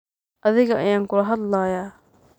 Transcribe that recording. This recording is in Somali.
Athiga ayan kula hadh laya.